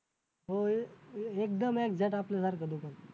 हो एकदम exact आपल्यासारखं दुकान